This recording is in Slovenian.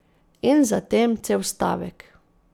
In za tem cel stavek.